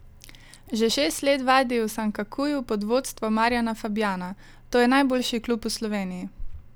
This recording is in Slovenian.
Že šest let vadi v Sankakuju pod vodstvom Marjana Fabjana: "To je najboljši klub v Sloveniji.